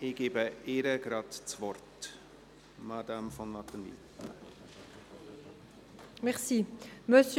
Ich gebe der Motionärin, Grossrätin von Wattenwyl, das Wort.